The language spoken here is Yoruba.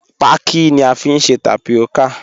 Paki ni à fiń sẹ̀ tápíọ́kà.